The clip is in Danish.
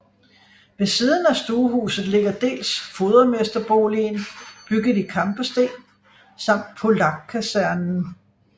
Ved siden af stuehuset ligger dels fodermesterboligen bygget i kampesten samt Polakkasernen